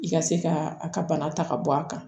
I ka se ka a ka bana ta ka bɔ a kan